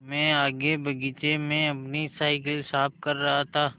मैं आगे बगीचे में अपनी साईकिल साफ़ कर रहा था